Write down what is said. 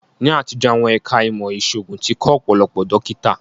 Ní àtijọ́, àwọn ẹ̀ká ìmọ̀ ìṣòògùn tí kọ́ Ọ̀pọ̀lọpọ̀ dókítà